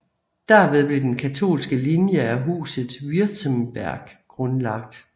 Derved blev den katolske linje af Huset Württemberg grundlagt